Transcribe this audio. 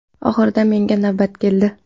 Oxirida menga navbat keldi.